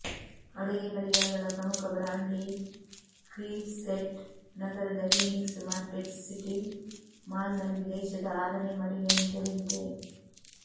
ಅಡುಗೆ ಪರಿಕರಗಳ ಪ್ರಮುಖ ಬ್ರಾಂಡ್ ಲೀ ಕ್ರೀವ್ಸೆಟ್ ನಗರದ ಫೀನಿಕ್ಸ್ ಮಾರ್ಕೆಟ್ಸಿಟಿ ಮಾಲ್ನಲ್ಲಿ ದೇಶದ ಆರನೇ ಮಳಿಗೆಯನ್ನು ತೆರೆದಿದೆ